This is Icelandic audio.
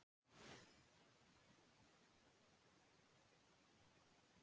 Þeir eru svartir á baki og á bægslum, gráir á hliðum með hvítan kvið.